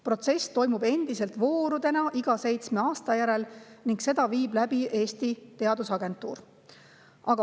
Protsess toimub endiselt voorudena iga seitsme aasta järel ning seda viib läbi Eesti Teadusagentuur.